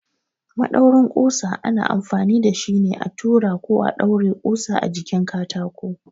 Maɗaurin ƙusa ana amfani da shi ne a tura ko ɗaure ƙusa a jikin katako.